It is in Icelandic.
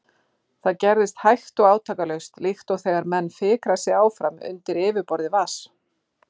Það gerðist hægt og átakalaust, líkt og þegar menn fikra sig áfram undir yfirborði vatns.